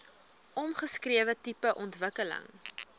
omskrewe tipe ontwikkeling